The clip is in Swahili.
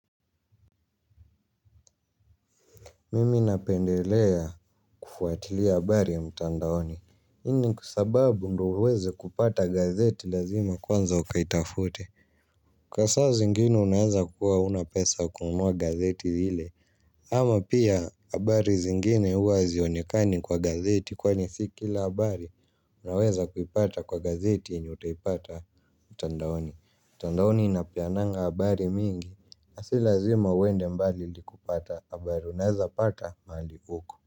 Mimi napendelea kufuatilia habari ya mtandaoni hii ni kwa sababu ndio uweze kupata gazeti lazima kwanza ukaitafute. Kwa saa zingine unaweza kuwa huna pesa ya kununua gazeti ile. Ama pia habari zingine huwa hazionekani kwa gazeti kwani si kila habari unaweza kuipata kwa gazeti yenye utaipata mtandaoni. Mtandaoni inapeananga habari mingi na si lazima uende mbali ili kupata habari unezapata mahali uko.